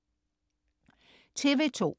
TV2: